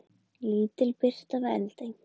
Lítil birta við Eldey